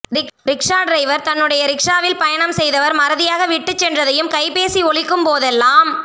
rickshaw driver தன்னுடைய ரிக்ஷாவில் பயணம் செய்தவர் மறதியாக விட்டுச் சென்றதையும் கைபேசி ஒலிக்கும் போதெல்லாம்